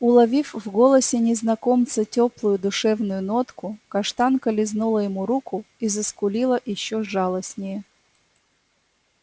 уловив в голосе незнакомца тёплую душевную нотку каштанка лизнула ему руку и заскулила ещё жалостнее